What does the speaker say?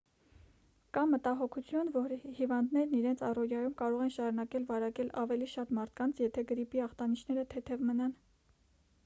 կա մտահոգություն որ հիվանդներն իրենց առօրյայում կարող են շարունակել վարակել ավելի շատ մարդկանց եթե գրիպի ախտանշանները թեթև մնան